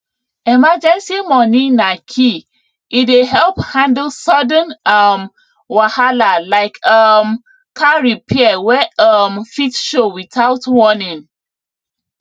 emergency money na key e dey help handle sudden um wahala like um car repair wey um fit show without warning